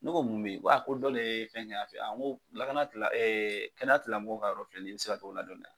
Ne ko mun bɛ yen min? ko dɔ de ye fɛn kɛ yan fɛ yen , n ko lakana kɛnɛyatilamɔgɔw ka yɔrɔ filɛ nin ye i bɛ se ka taa o ladɔnniya.